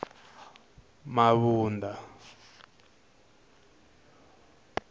mabunda